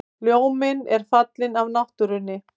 Ljóminn er farinn af náttúrunni.